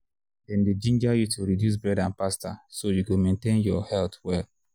dem dey ginger you to reduce bread and pasta so you go maintain your health well.